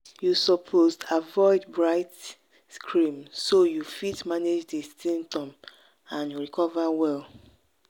you suppose avoid bright screen so you fit manage di symptoms and recover well.